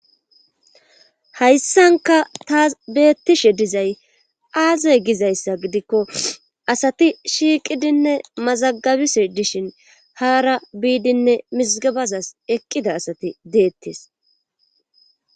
Hayssanka taas beettishe dizay aazoy gizayssa gidikko asati shiiqidinne mazagabise dishin haara biidinne misgabazas eqqida asati deettes